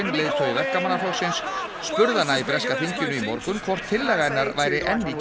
leiðtogi spurði hana í breska þinginu í morgun hvort tillaga hennar væri enn